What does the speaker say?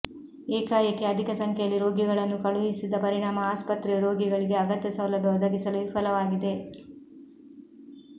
ಏಕಾಏಕಿ ಅಧಿಕ ಸಂಖ್ಯೆಯಲ್ಲಿ ರೋಗಿಗಳನ್ನು ಕಳುಹಿಸಿದ ಪರಿಣಾಮ ಆಸ್ಪತ್ರೆಯು ರೋಗಿಗಳಿಗೆ ಅಗತ್ಯ ಸೌಲಭ್ಯ ಒದಗಿಸಲು ವಿಫಲವಾಗಿದೆ